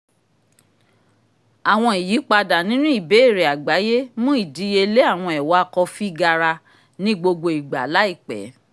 awọn iyipada ninu ìbéèrè àgbáyé mú ìdíyelé àwọn ẹ́wà kọfi gara ní gbogbo ìgbà láìpẹ́